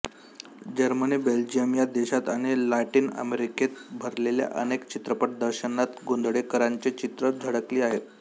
Germany Belgium या देशांत आणि लॅटिन अमेरिकेत भरलेल्या अनेक चित्रप्रदर्शनांत गोंधळेकरांची चित्रे झळकली आहेत